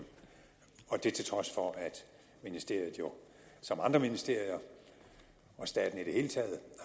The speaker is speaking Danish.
og det var til trods for at ministeriet jo som andre ministerier og staten i det hele taget